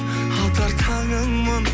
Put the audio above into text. атар таңыңмын